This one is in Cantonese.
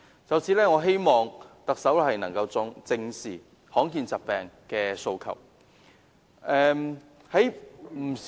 就此，我希望特首能夠正視罕見疾病病人的訴求。